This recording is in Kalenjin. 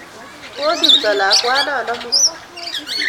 Kosirto lakwanon amut